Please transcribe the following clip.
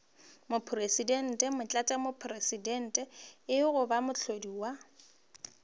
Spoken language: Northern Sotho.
mopresidente motlatšamopresidente goba moahlodi wa